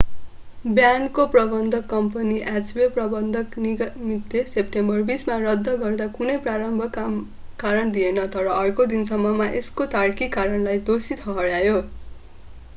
ब्यान्डको प्रबन्धक कम्पनी hk प्रबन्धक निगमितले सेप्टेम्बर 20 मा रद्द गर्दा कुनै प्रारम्भिक कारण दिएन तर अर्को दिनसम्ममा यसको तार्किक कारणलाई दोषी ठहर्‍यायो।